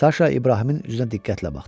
Saşa İbrahimin üzünə diqqətlə baxdı.